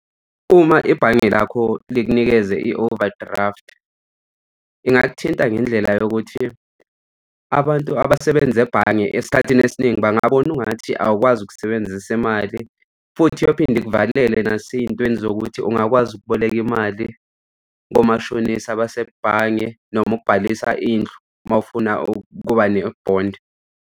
Uma ibhange lakho likunikeze i-overdraft, ingakuthinta ngendlela yokuthi abantu abasebenza ebhange esikhathini esiningi bangabona ungathi awukwazi ukusebenza imali futhi uyophinde ikuvalele nasey'ntweni zokuthi ungakwazi ukuboleka imali komashonisa abasebhange noma ukubhalisa indlu uma ufuna ukuba nebhondi.